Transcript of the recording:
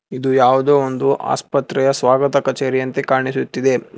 ಇದು ಯಾವುದೋ ಒಂದು ಆಸ್ಪತ್ರೆಯ ಸ್ವಾಗತ ಕಚೇರಿ ಅಂತೆ ಕಾಣಿಸುತ್ತಿದೆ.